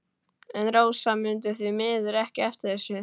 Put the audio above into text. En Rósa mundi því miður ekki eftir þessu.